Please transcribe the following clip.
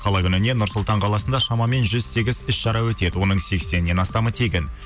қала күніне нұр сұлтан қаласында шамамен жүз сегіз іс шара өтеді оның сексеннен астамы тегін